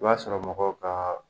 I b'a sɔrɔ mɔgɔw ka